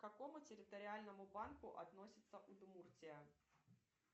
к какому территориальному банку относится удмуртия